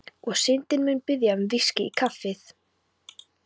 Og Syndin mun biðja um VISKÍ í kaffið.